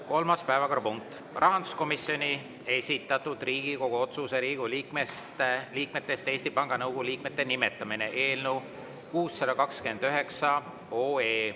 Kolmas päevakorrapunkt: rahanduskomisjoni esitatud Riigikogu otsuse "Riigikogu liikmetest Eesti Panga Nõukogu liikmete nimetamine" eelnõu .